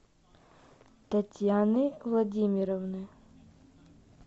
татьяны владимировны